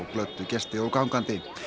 glöddu gesti og gangandi